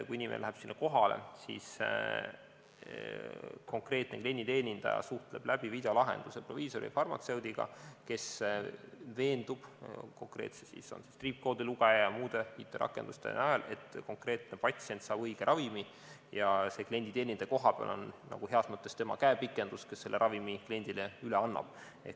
Kui inimene läheb sinna kohale, siis konkreetne klienditeenindaja suhtleb läbi videolahenduse proviisori või farmatseudiga, kes veendub konkreetselt triipkoodilugeja või muude IT-rakenduste najal, et konkreetne patsient saab õige ravimi, ja see klienditeenindaja kohapeal on heas mõttes tema käepikendus, kes selle ravimi kliendile üle annab.